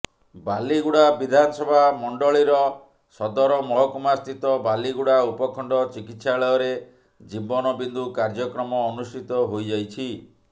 ବାଲିଗୁଡ଼ା ବିଧାନସଭା ମଣ୍ଡଳୀର ସଦରମହକୁମା ସ୍ଥିତ ବାଲିଗୁଡ଼ା ଉପଖଣ୍ଡ ଚିକିତ୍ସାଳୟରେ ଜିବନ ବିନ୍ଦୁ କାର୍ଯ୍ୟକ୍ରମ ଅନୁଷ୍ଠିତ ହୋଇଯାଇଛି